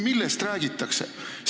Millest räägitakse?